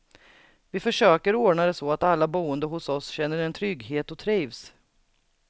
Vi försöker ordna det så att alla boende hos oss känner en trygghet och trivs.